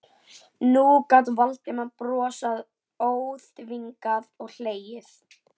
Nú gat Valdimar brosað óþvingað og hlegið.